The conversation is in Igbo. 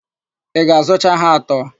Ị ga-azụcha ha atọ?